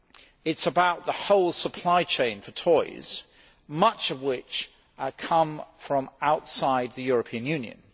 it is about the whole supply chain for toys, much of which come from outside the European Union.